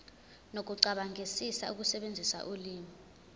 nokucabangisisa ukusebenzisa ulimi